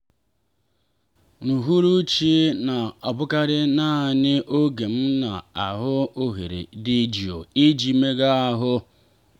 n'uhuruchi na-abụkarị naanị oge m na-ahụ ohere dị jụụ iji meega ahụ.